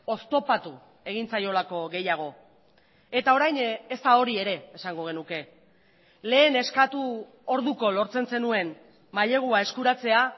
oztopatu egin zaiolako gehiago eta orain ez da hori ere esango genuke lehen eskatu orduko lortzen zenuen mailegua eskuratzea